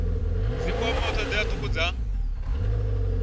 dzi kwamaho thodea thukhu dza